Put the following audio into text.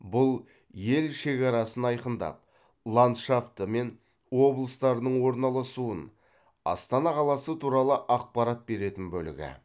бұл ел шекарасын айқындап ландшафты мен облыстардың орналасуын астана қаласы туралы ақпарат беретін бөлігі